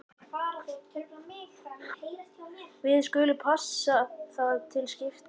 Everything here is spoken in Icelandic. Við skulum passa það til skiptis.